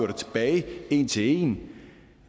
det tilbage en til en